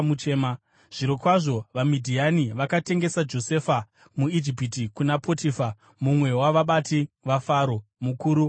Zvichakadaro, vaMidhiani vakatengesa Josefa muIjipiti kuna Potifa mumwe wavabati vaFaro, mukuru wavarindi.